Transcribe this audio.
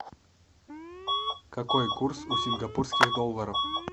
какой курс у сингапурских долларов